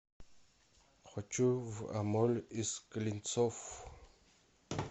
хочу в амоль из клинцов